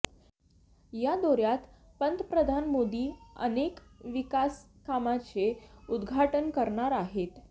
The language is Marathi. या दौर्यात पंतप्रधान मोदी अनेक विकासकामांचे उद्घाटन करणार आहेत